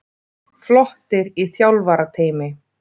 Flottir í þjálfarateymi.